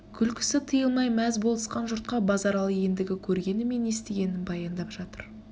күлкісі тыйылмай мәз болысқан жұртқа базаралы ендігі көргені мен естігенін баяндап жатыр